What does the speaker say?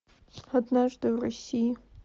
однажды в россии